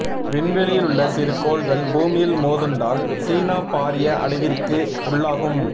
விண்வெளியிலுள்ள சிறு கோள்கள் பூமியில் மோதுண்டால் சீனா பாரிய அழிவிற்கு உள்ளாகும்